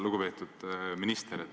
Lugupeetud minister!